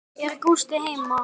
Er Gústi heima?